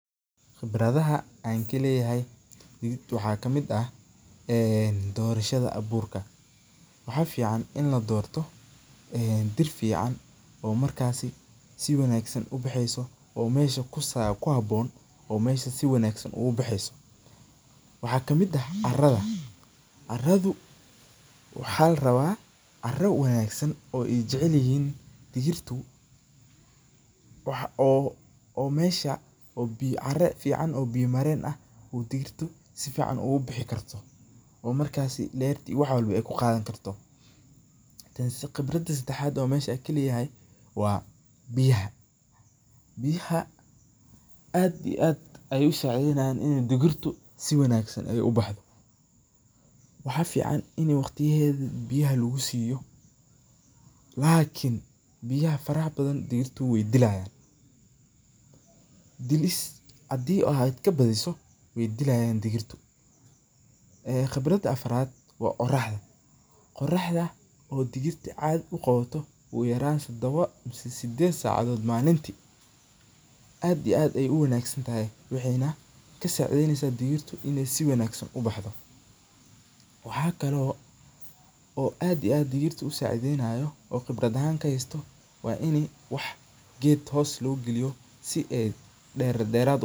Qibradhaaha an kaleyahay digirta waxaa kamiid ah ee dorashaadha aburka waxaa fican in ladorto ee dir fican oo markasi si fican u baxeyso oo mesha ku habon oo mesha si wanagsan oga baxeyso, waxaa kamiid ah caradha, caradhu waxaa la rawa cara wanagsan oo ee jecelyihin digirtu, waxaa oo mesha biya caren fican oo biya maren ah oo digirta si fiican uga bixi karto oo markasi lerto iyo wax kistawa ee ku qadhani karto, qibradha sadaxad oo mesha kaheyahay waa biyaha, biyaha aad iyo aad ayey u sacidheynayin in digirtu si wanagsan ee u baxdo waxaa fican in waqtiyahedhu biyaha lagu siyo lakin biyaha faraha badan digirtu we dilayan, dilis hadii aad ka badhiso wey dilayan digirtu ee qibrada afaraad waa oraxda, oraxda oo digirta cadhi u qawato ogu yaran sadawo sideed sacadhow malinti aad iyo aad ayey u wanagsantahay wexena kasacidheynesa digirtu in si wanagsan u baxdo, waxaa kalo aad iyo aad digirta u sacideynayo oo qibraad ahan kahaysto waa in wax geed hosta laaga galiyo si ee deraad deraad u baxdo.